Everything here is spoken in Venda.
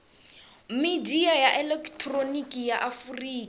midia ya elekihironiki ya afurika